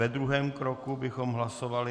Ve druhém kroku bychom hlasovali...